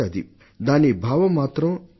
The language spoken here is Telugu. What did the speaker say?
అయితే దాని భావం మాత్రం ఇదే